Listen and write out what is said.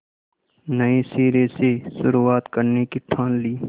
नए सिरे से शुरुआत करने की ठान ली